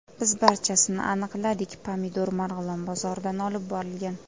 Biz barchasini aniqladik pomidor Marg‘ilon bozoridan olib borilgan.